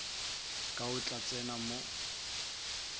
ka o tla tseba mo